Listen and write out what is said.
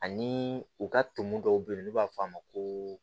Ani u ka ton dɔw be yen n'u b'a f'a ma ko